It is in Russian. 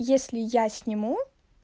если я сниму